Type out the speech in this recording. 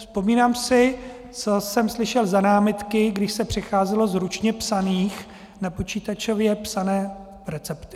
Vzpomínám si, co jsem slyšel za námitky, když se přecházelo z ručně psaných na počítačově psané recepty.